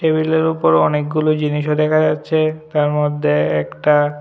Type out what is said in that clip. টেবিলের উপর অনেকগুলো জিনিসও দেখা যাচ্ছে তার মধ্যে একটা--